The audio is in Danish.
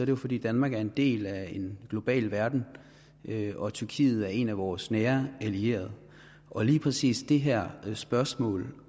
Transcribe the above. det fordi danmark er en del af en global verden og tyrkiet er en af vores nære allierede og lige præcis det her spørgsmål